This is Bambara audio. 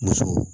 Muso